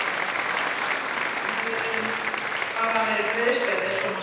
Kristján Már Unnarsson: Þetta hefur bara verið breiðstræti ef svo má segja?